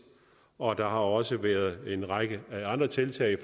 og der har også været en række andre tiltag